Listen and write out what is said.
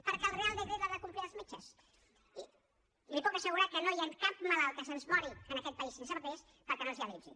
perquè el reial decret l’han de complir els metges i li puc assegurar que no hi ha cap malalt que se’ns mori en aquest país sense papers perquè no es dialitzi